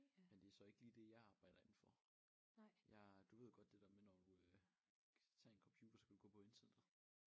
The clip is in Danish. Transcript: Men det så ikke lige det jeg arbejder indenfor jeg du ved godt det der med når du øh tage en computer så kan du gå på internettet